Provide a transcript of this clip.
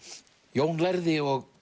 Jón lærði og